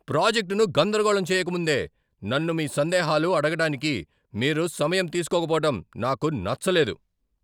ప్రాజెక్టును గందరగోళం చేయకముందే నన్ను మీ సందేహాలు అడగడానికి మీరు సమయం తీస్కోకపోవటం నాకు నచ్చలేదు.